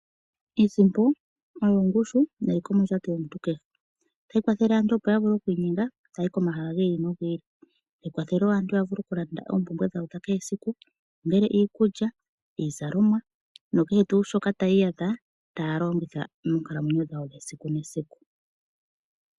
Iisimpo oyo ongushu neliko mondjato yomuntu kehe. Otayi kwathele aantu opo ya vule okuinyenga taya yi komahala gi ili nogi ili. Tayi kwathele wo aantu ya vule okulanda oompumbwe dhawo dha kehe esiku, ongele iikulya, iizalomwa nakehe tuu shoka taya iyadha taya longitha moonkalamwenyo dhawo dhesiku nesiku.